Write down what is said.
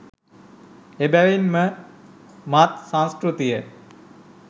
එබැවින් ම මත් සංස්කෘතිය